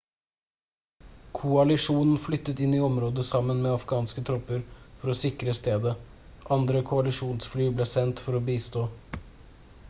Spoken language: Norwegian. koalisjonen flyttet inn i området sammen med afghanske tropper for å sikre stedet andre koalisjonsfly er sendt for å bistå